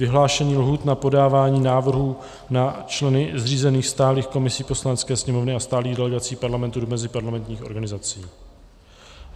Vyhlášení lhůt na podávání návrhů na členy zřízených stálých komisí Poslanecké sněmovny a stálých delegací Parlamentu do meziparlamentních organizací